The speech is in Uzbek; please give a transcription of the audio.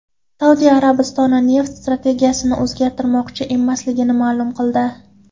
Saudiya Arabistoni neft strategiyasini o‘zgartirmoqchi emasligini ma’lum qildi.